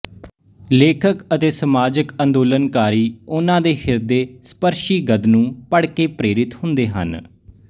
ਲੇਖਕ ਅਤੇ ਸਮਾਜਕ ਅੰਦੋਲਨਕਾਰੀ ਉਹਨਾਂ ਦੇ ਹਿਰਦੇ ਸਪਰਸ਼ੀ ਗਦ ਨੂੰ ਪੜ੍ਹਕੇ ਪ੍ਰੇਰਿਤ ਹੁੰਦੇ ਹਨ